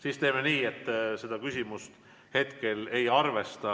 Siis teeme nii, et seda küsimust ma hetkel ei arvesta.